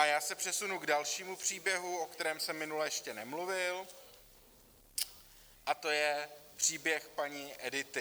A já se přesunu k dalšímu příběhu, o kterém jsem minule ještě nemluvil, a to je příběh paní Edity.